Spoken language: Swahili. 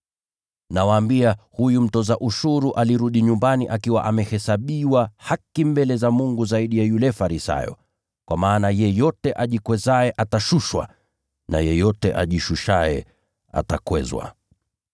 “Nawaambia, huyu mtoza ushuru alirudi nyumbani akiwa amehesabiwa haki mbele za Mungu zaidi ya yule Farisayo. Kwa maana yeyote ajikwezaye atashushwa, na yeyote ajishushaye atakwezwa.”